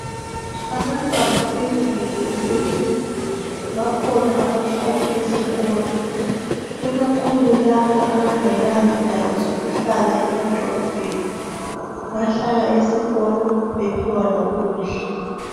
Abantwana beyunivesithi bakhona abahlala esikolo ikakhulu labo abangela zindawo zokuhlala emadolobheni bahlala esikolo bephiwa lokudla .